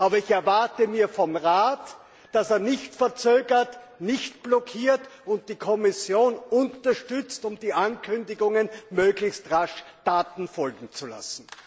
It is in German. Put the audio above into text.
Aber ich erwarte vom Rat, dass er nicht verzögert, nicht blockiert, die Kommission unterstützt und den Ankündigungen möglichst rasch Taten folgen lässt.